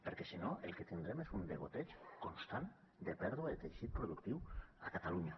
perquè si no el que tindrem és un degoteig constant de pèrdua de teixit productiu a catalunya